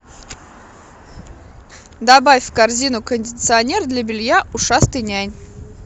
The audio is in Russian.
добавь в корзину кондиционер для белья ушастый нянь